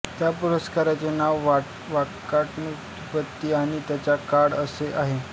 त्या पुस्तकाचे नाव वाकाटक नृपति आणि त्यांचा काळ असे आहे